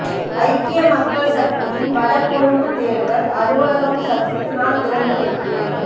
ஐக்கிய மக்கள் சக்தியின் வட கொழும்பு தேர்தல் அலுவலகம் சஜித்தினால் திறந்து வைப்பு